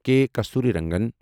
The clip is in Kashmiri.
کے کستوری رنگن